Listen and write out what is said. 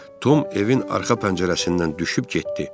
Tom evin arxa pəncərəsindən düşüb getdi.